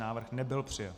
Návrh nebyl přijat.